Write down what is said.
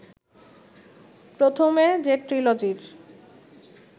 প্রথমে যে ট্রিলজির